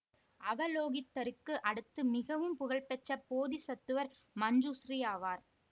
அவலோகிதருக்கு அடுத்து மிகவும் புகழ் பெற்ற போதிசத்துவர் மஞ்சுஸ்ரீ ஆவார்